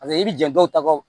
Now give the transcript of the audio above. Paseke i bɛ jan dɔw ta o